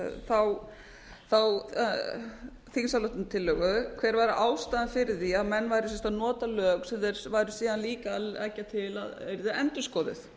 þá þingsályktunartillögu hver væri ástæðan fyrir því að menn væru að nota lög sem þeir væru síðan líka að leggja til að yrðu endurskoðuð